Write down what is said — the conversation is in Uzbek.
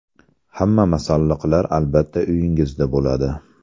Hamma masalliqlar albatta uyingizda bo‘ladi.